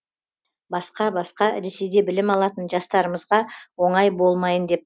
басқа басқа ресейде білім алатын жастарымызға оңай болмайын деп